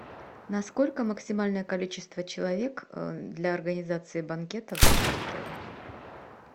на сколько максимальное количество человек для организации банкета в вашем отеле